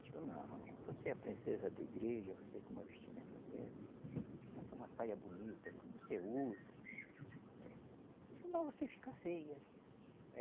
Digo, não, você é a princesa da igreja, você com uma vestimenta dessa, faça uma saia bonita, como você usa, senão você fica feia.